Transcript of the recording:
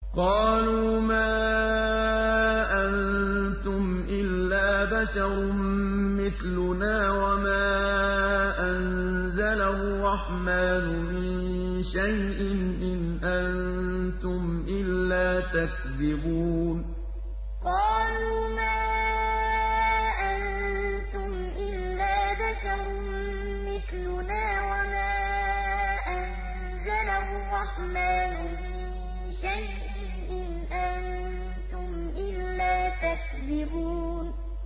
قَالُوا مَا أَنتُمْ إِلَّا بَشَرٌ مِّثْلُنَا وَمَا أَنزَلَ الرَّحْمَٰنُ مِن شَيْءٍ إِنْ أَنتُمْ إِلَّا تَكْذِبُونَ قَالُوا مَا أَنتُمْ إِلَّا بَشَرٌ مِّثْلُنَا وَمَا أَنزَلَ الرَّحْمَٰنُ مِن شَيْءٍ إِنْ أَنتُمْ إِلَّا تَكْذِبُونَ